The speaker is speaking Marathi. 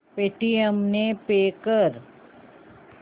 पेटीएम ने पे कर